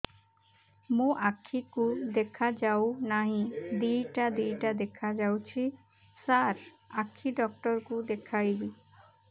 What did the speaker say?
ମୋ ଆଖିକୁ ଦେଖା ଯାଉ ନାହିଁ ଦିଇଟା ଦିଇଟା ଦେଖା ଯାଉଛି ସାର୍ ଆଖି ଡକ୍ଟର କୁ ଦେଖାଇବି